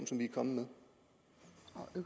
som vi er kommet